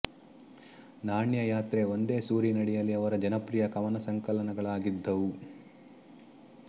ನಾಣ್ಯ ಯಾತ್ರೆ ಒಂದೇ ಸೂರಿನಡಿಯಲ್ಲಿ ಅವರ ಜನಪ್ರಿಯ ಕವನ ಸಂಕಲನಗಳಾಗಿದ್ದವು